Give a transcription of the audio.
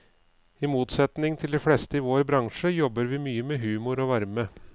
I motsetning til de fleste i vår bransje, jobber vi mye med humor og varme.